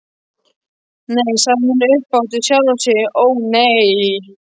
Nei, sagði hún upphátt við sjálfa sig, ó nei.